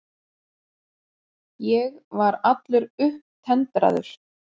Ég var allur upptendraður.